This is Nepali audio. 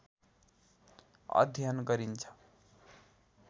अध्ययन गरिन्छ।